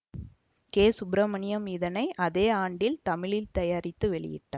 K Subramaniam இதனை அதே ஆண்டில் தமிழில் தயாரித்து வெளியிட்டார்